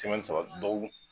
dɔgɔkun .